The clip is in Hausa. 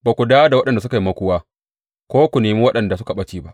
Ba ku dawo da waɗanda suka yi makuwa ko ku nemi waɗanda suka ɓace ba.